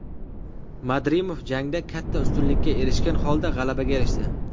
Madrimov jangda katta ustunlikka erishgan holda g‘alabaga erishdi.